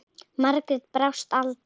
Margrét brást aldrei.